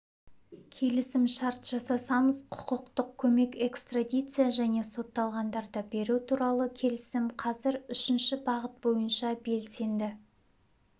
келісімшарт жасасамыз құқықтық көмек экстрадиция және сотталғандарды беру туралы келісім қазір үшінші бағыт бойынша белсенді